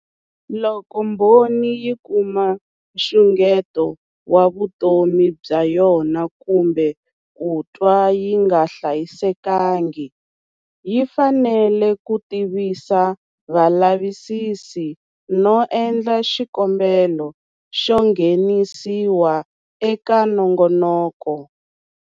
Loko mbhoni yi kuma nxungeto wa vutomi bya yona kumbe ku twa yi nga hlayisekangi, yi fanele ku tivisa valavisisi no endla xikombelo xo nghenisiwa eka nongonoko.